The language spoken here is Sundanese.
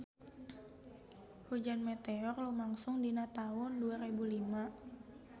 Hujan meteor lumangsung dina taun dua rebu lima